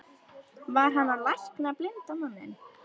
Var hann að lækna blinda manninn?